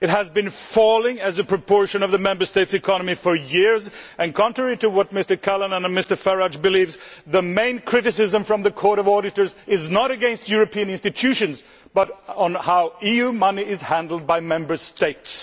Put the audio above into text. it has been falling as a proportion of the Member States' economies for years and contrary to what Mr Callanan and Mr Farage believe, the main criticism from the Court of Auditors is not against the European institutions but on how EU money is handled by Member States.